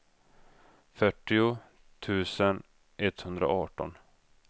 fyrtio tusen etthundraarton